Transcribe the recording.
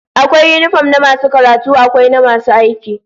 Akwai yinifom na masu karatu, akwai na masu aiki